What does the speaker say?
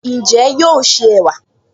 Ǹjẹ́ yóò se ẹ̀wà?